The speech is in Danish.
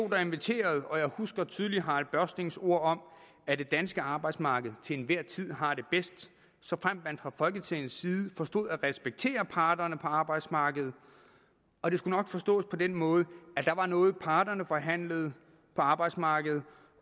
der inviterede og jeg husker tydeligt harald børstings ord om at det danske arbejdsmarked til enhver tid har det bedst såfremt man fra folketingets side forstår at respektere parterne på arbejdsmarkedet og det skulle nok forstås på den måde at der var noget parterne forhandlede på arbejdsmarkedet